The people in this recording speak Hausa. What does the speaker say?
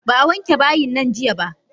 Ba a wanke bayinnan jiya ba.